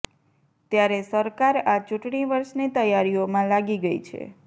ત્યારે સરકાર આ ચૂંટણી વર્ષની તૈયારીઓમાં લાગી ગઈ છે